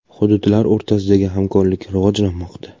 Hududlar o‘rtasidagi hamkorlik rivojlanmoqda.